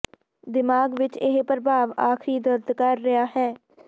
ਦਿਮਾਗ ਵਿੱਚ ਇਹ ਪ੍ਰਭਾਵ ਆਖਰੀ ਦਰਦ ਕਰ ਰਿਹਾ ਹੈ